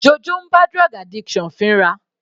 Jojo ń bá drug addiction fínra.